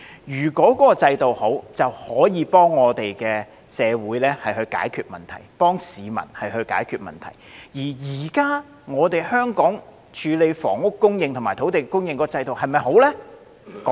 如果制度良好，就可以幫助社會及市民解決問題；而現時香港處理房屋供應和土地供應的制度是否良好呢？